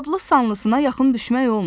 Adlı-sanlısına yaxın düşmək olmur.